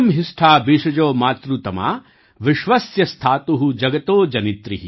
यूयं हिष्ठा भिषजो मातृतमा विश्व्यस्य स्थातु जगतो जनित्री